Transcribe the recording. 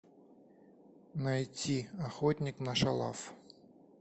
найти охотник на шалав